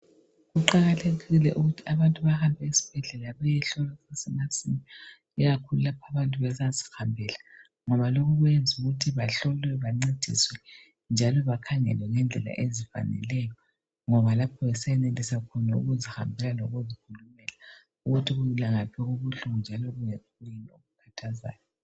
Kuqakathekile ukuthi abantu bahambe esibhedlela beyohlolwa kusesemasinya ikakhulu lapho abantu besazihambela ngoba lokhu kuyenza ukuthi bahlolwe bancediswe njalo bakhangele ngendlela ezifaneleyo ngoba lapho besenelisa khona ukuzihambela lokuzikhulumela ukuthi kungaphi okubuhlungu njalo kuyini okukhathazayo.